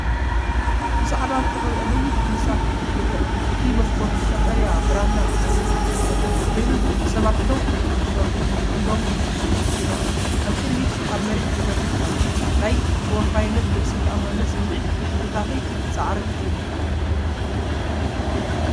ብጻዕዳ ዝተቐብአ ነዊሕ ህንጻ ክፍሊ ይርአ። እቲ መስኮት ብቀጠልያ ብራናን ሳንዱቕን ዝተሰለፈ ኮይኑ፡ ሰባት ደው ኢሎም ክሰርሑ፡ ብኢዶም ክስእሉ ይረኣዩ። ኣብ ቅድሚት ኣብ መሬት ተዘርጊሑ ኣሎ። ናይ ተወፋይነትን ርእሰ ተኣማንነትን ስምዒት ብሕብርታትን ጻዕርን ይመሓላለፍ።